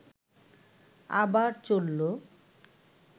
আবার চলল